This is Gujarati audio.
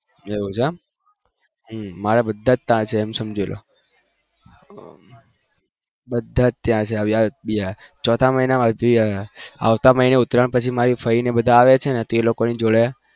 એવું છે મારા ત્યાં જ છે સમજી લો ચોથા મહિના માં બધા આવે છે આવતા મહિના માં ઉતરાણ પછી મારી ફોઈ ને બધા આવે છે